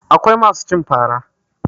Akwai masu cin fara